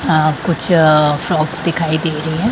अ कुछ फ़्रॉकक्स दिखाई दे रही हैं।